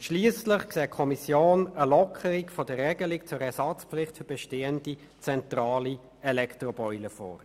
Und schliesslich sieht die Kommission eine Lockerung der Regelung zur Ersatzpflicht für bestehende zentrale Elektroboiler vor.